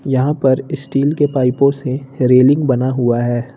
यहां पर स्टील के पाइपों से रेलिंग बना हुआ है।